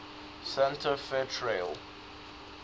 santa fe trail